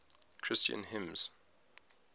christian hymns